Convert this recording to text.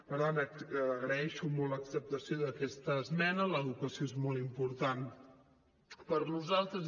per tant agraeixo molt l’acceptació d’aquesta esmena l’educació és molt important per a nosaltres